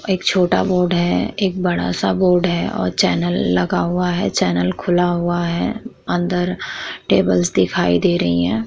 एक छोटा बोर्ड है एक बड़ा सा बोर्ड है और चैनल लगा हुआ है चैनल खुला हुआ है अंदर टेबल्स दिखाई दे रही हैं ।